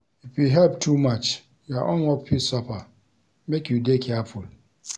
If you help too much, your own work fit suffer. Make you dey careful.